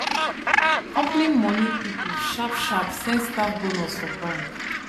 company money people sharp sharp send staff bonus for bank